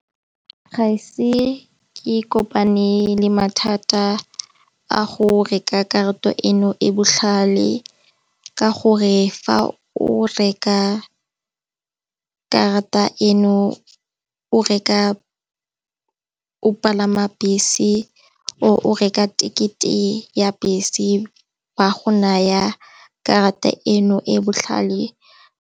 Ga e se ke kopane le mathata a go reka karata eno e botlhale ka gore fa o reka karata eno o reka o palama bese o reka ticket e ya bese wa go naya karata eno e botlhale.